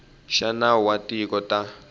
xa nawu wa tikhoto ta